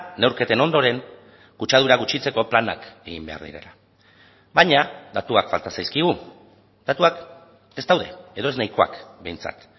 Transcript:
neurketen ondoren kutsadura gutxitzeko planak egin behar direla baina datuak falta zaizkigu datuak ez daude edo ez nahikoak behintzat